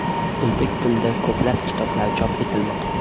O‘zbek tilida ko‘plab kitoblar chop etilmoqda.